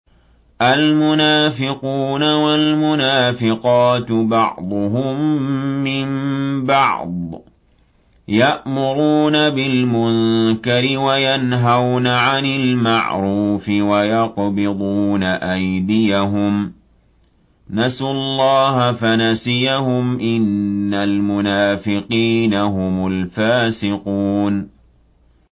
الْمُنَافِقُونَ وَالْمُنَافِقَاتُ بَعْضُهُم مِّن بَعْضٍ ۚ يَأْمُرُونَ بِالْمُنكَرِ وَيَنْهَوْنَ عَنِ الْمَعْرُوفِ وَيَقْبِضُونَ أَيْدِيَهُمْ ۚ نَسُوا اللَّهَ فَنَسِيَهُمْ ۗ إِنَّ الْمُنَافِقِينَ هُمُ الْفَاسِقُونَ